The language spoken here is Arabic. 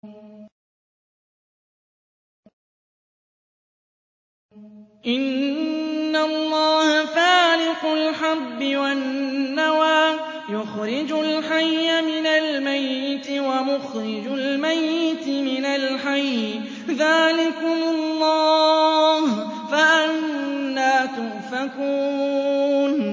۞ إِنَّ اللَّهَ فَالِقُ الْحَبِّ وَالنَّوَىٰ ۖ يُخْرِجُ الْحَيَّ مِنَ الْمَيِّتِ وَمُخْرِجُ الْمَيِّتِ مِنَ الْحَيِّ ۚ ذَٰلِكُمُ اللَّهُ ۖ فَأَنَّىٰ تُؤْفَكُونَ